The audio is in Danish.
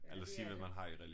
Ja det er det